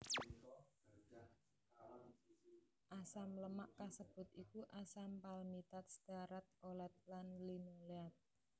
Asam lemak kasebut iku asam palmitat stearat olet lan linoleat